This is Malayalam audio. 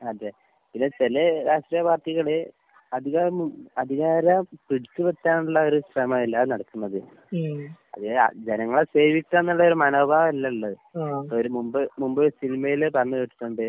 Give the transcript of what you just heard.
അതെ, പിന്നെ ചെലേ രാഷ്ട്രീയ പാർട്ടികള് അധികാരം അധികാരം പിടിച്ച് പറ്റാനുള്ള ഒര് ശ്രമത്തിലാ നടക്കുന്നത്. അതിന് രാ ജനങ്ങളെ സേവിക്ക്കാന്നുള്ളയൊര് മനോഭാവം അല്ല ഇള്ളത്. ഒരു മുമ്പ് മുമ്പ് സിനിമേല് പറഞ്ഞ് കേട്ടിട്ടുണ്ട്